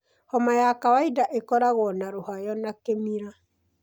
Homa ya kawaida ĩkoragwo na rũhayo na kĩmira.